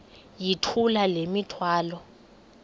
yithula le mithwalo